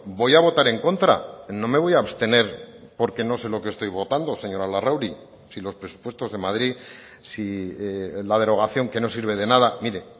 voy a votar en contra no me voy a abstener porque no sé lo que estoy votando señora larrauri si los presupuestos de madrid si la derogación que no sirve de nada mire